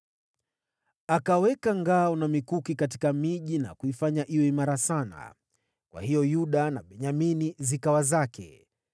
Akaweka ngao na mikuki katika miji na kuifanya iwe imara sana. Kwa hiyo Yuda na Benyamini zikawa zake.